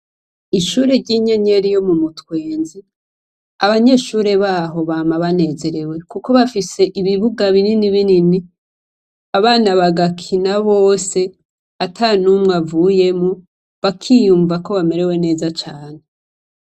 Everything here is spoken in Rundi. Ishure ry'inyenyeri yo mu mutwenzi abanyeshure baho bama banezerewe, kuko bafise ibibuga binini binini abana bagakina bose ata n'umwe avuyemo bakiyumva ko bamerewe neza cane.